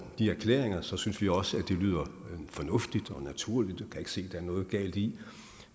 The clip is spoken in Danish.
de erklæringer synes vi også det lyder fornuftigt og naturligt vi kan ikke se der er noget galt i